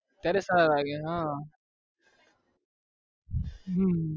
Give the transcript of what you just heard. ત્યારે સારા લાગે હા હમમ